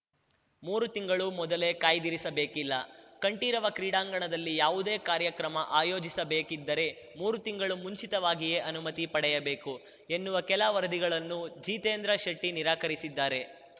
ಮೂರು ತಿಂಗಳು ಮೊದಲೇ ಕಾಯ್ದಿರಿಸಬೇಕಿಲ್ಲ ಕಂಠೀರವ ಕ್ರೀಡಾಂಗಣದಲ್ಲಿ ಯಾವುದೇ ಕಾರ್ಯಕ್ರಮ ಆಯೋಜಿಸಬೇಕಿದ್ದರೆ ಮೂರು ತಿಂಗಳು ಮುಂಚಿತವಾಗಿಯೇ ಅನುಮತಿ ಪಡೆಯಬೇಕು ಎನ್ನುವ ಕೆಲ ವರದಿಗಳನ್ನು ಜಿತೇಂದ್ರ ಶೆಟ್ಟಿನಿರಾಕರಿಸಿದ್ದಾರೆ